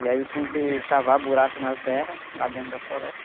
E aí eles tinham que cavar buraco na terra, lá dentro da floresta.